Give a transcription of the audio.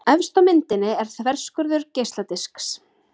Efst á myndinni er þverskurður geisladisks.